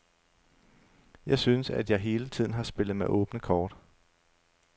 Jeg synes, at jeg hele tiden har spillet med åbne kort.